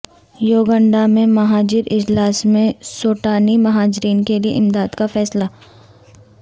یوگنڈا میں مہاجر اجلاس میں سوڈانی مہاجرین کے لیے امداد کا فیصلہ